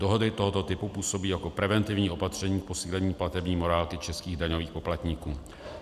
Dohody tohoto typu působí jako preventivní opatření k posílení platební morálky českých daňových poplatníků.